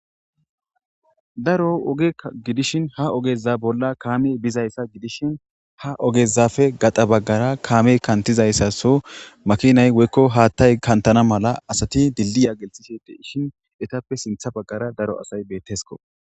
Daro oge gidishin ha ogeza bolla kaame bizayssa gidishin ha ogezafe gaxa baggara kaame kantizayssaso makinay woykko haattay kantana mala asati dilliya geltiside ishin etappe sintha baggara daro asay beettesko.